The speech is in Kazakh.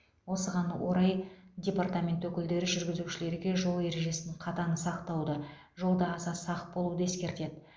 осыған орай департамент өкілдері жүргізушілерге жол ережесін қатаң сақтауды жолда аса сақ болуды ескертеді